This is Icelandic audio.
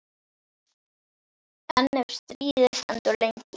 En ef stríðið stendur lengi?